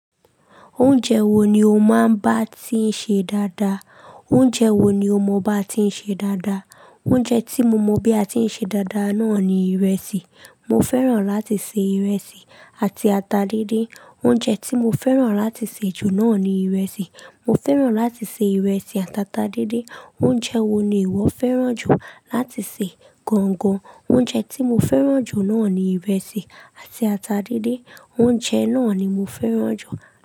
Oúnjẹ wo ni o máa ń bá tí ń ṣe dáadáa? Oúnjẹ wo ni o mọ bá ti ń ṣe dáadáa? Oúnjẹ tí mo mọ bí a ti ń ṣe dáadáa náà ni ìrẹsì. Mo fẹ́ràn láti se ìrẹsì àti ata díndín. Oúnjẹ tí mo fẹ́ràn láti se jù náà ni ìrẹsì. Mo fẹ́ràn láti se ìrẹsì àti ata díndín. Oúnjẹ wo ni ìwọ fẹ́ràn jù láti se gan gan? Oúnjẹ tí mo fẹ́ràn jù náà ni ìrẹsì àti ata díndín. Oúnjẹ náà ni mo fẹ́ràn jù.